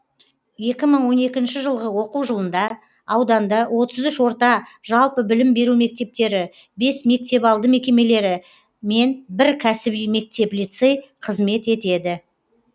екі мың он екінші жылғы оқу жылында ауданда отыз үш орта жалпы білім беру мектептері бес мектепалды мекемелері мен бір кәсіби мектеп лицей қызмет етеді